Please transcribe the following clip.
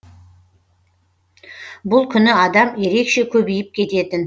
бұл күні адам ерекше көбейіп кететін